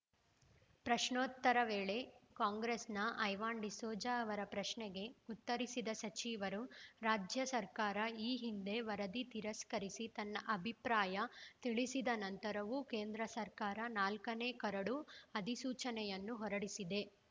ಪ್ರಶ್ನೋತ್ತರ ವೇಳೆ ಕಾಂಗ್ರೆಸ್‌ನ ಐವನ್‌ ಡಿಸೋಜ ಅವರ ಪ್ರಶ್ನೆಗೆ ಉತ್ತರಿಸಿದ ಸಚಿವರು ರಾಜ್ಯ ಸರ್ಕಾರ ಈ ಹಿಂದೆ ವರದಿ ತಿರಸ್ಕರಿಸಿ ತನ್ನ ಅಭಿಪ್ರಾಯ ತಿಳಿಸಿದ ನಂತರವೂ ಕೇಂದ್ರ ಸರ್ಕಾರ ನಾಲ್ಕನೆ ಕರಡು ಅಧಿಸೂಚನೆಯನ್ನು ಹೊರಡಿಸಿದೆ